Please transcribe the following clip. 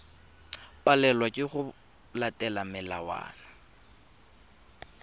palelwa ke go latela melawana